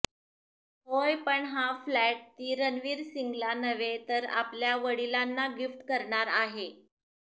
होय पण हा फ्लॅट ती रणवीर सिंगला नव्हे तर आपल्या वडिलांना गिफ्ट करणार आहे